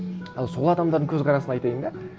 ал сол адамдардың көзқарасын айтайын да